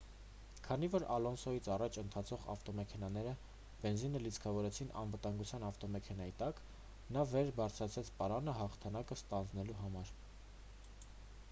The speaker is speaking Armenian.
քանի որ ալոնսոյից առաջ ընթացող ավտոմեքենաները բենզինը լիցքավորեցին անվտանգության ավտոմեքենայի տակ նա վեր բարձրացրեց պարանը հաղթանակը ստանձնելու համար